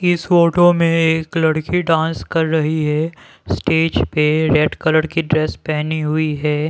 इस फोटो में एक लड़की डांस कर रही है स्टेज पे रेड कलर की ड्रेस पहनी हुई है।